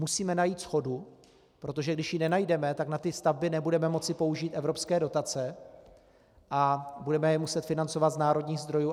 Musíme najít shodu, protože když ji nenajdeme, tak na ty stavby nebudeme moci použít evropské dotace a budeme je muset financovat z národních zdrojů.